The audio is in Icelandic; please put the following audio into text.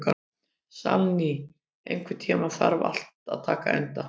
Salný, einhvern tímann þarf allt að taka enda.